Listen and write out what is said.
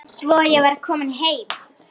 Svo var ég komin heim.